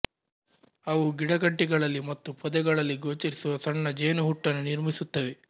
ಅವು ಗಿಡಕಂಟಿಗಳಲ್ಲಿ ಮತ್ತು ಪೊದೆಗಳಲ್ಲಿ ಗೋಚರಿಸುವ ಸಣ್ಣ ಜೇನುಹುಟ್ಟನ್ನು ನಿರ್ಮಿಸುತ್ತವೆ